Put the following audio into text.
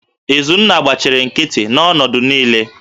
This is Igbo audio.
Izunna gbachiri nkịtị n'ọnọdụ niile